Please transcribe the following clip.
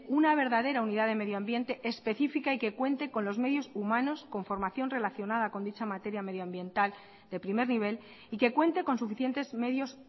una verdadera unidad de medio ambiente específica y que cuente con los medios humanos con formación relacionada con dicha materia medioambiental de primer nivel y que cuente con suficientes medios